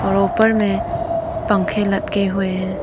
ऊपर में पंखे लटके हुए हैं।